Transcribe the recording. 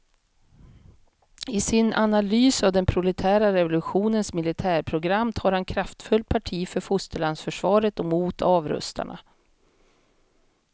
I sin analys av den proletära revolutionens militärprogram tar han kraftfullt parti för fosterlandsförsvaret och mot avrustarna.